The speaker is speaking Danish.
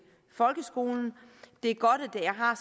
folkeskolen det er godt at det har